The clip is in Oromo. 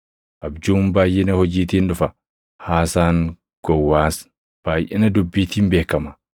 Abjuun baayʼina hojiitiin dhufa; haasaan gowwaas baayʼina dubbiitiin beekama.